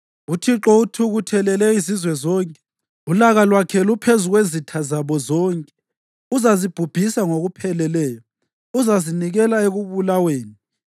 UThixo uthukuthelele izizwe zonke, ulaka lwakhe luphezu kwezitha zabo zonke. Uzazibhubhisa ngokupheleleyo, uzazinikela ekubulaweni.